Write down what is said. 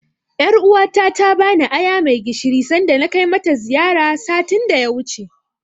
Ƴaruwa ta ta bani aya mai gishiri sanda na kai mata ziyara, satin da ya wuce.